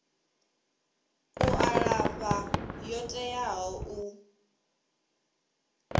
u alafha yo teaho u